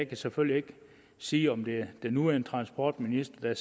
kan selvfølgelig ikke sige om det er den nuværende transportminister